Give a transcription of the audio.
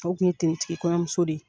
O tun ye kɔɲɔmuso de ye